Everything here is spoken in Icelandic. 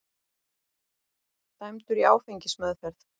Dæmdur í áfengismeðferð